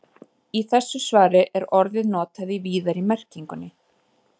Í þessu svari er orðið notað í víðari merkingunni.